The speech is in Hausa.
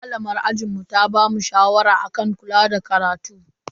Malamar ajinmu ta bamu shawara akan kula da karatu.